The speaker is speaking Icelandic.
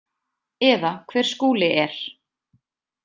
Eða hver Skúli er.